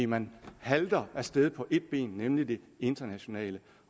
man halter af sted på et ben nemlig det internationale